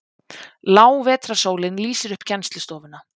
Lág vetrarsólin lýsir upp kennslustofuna.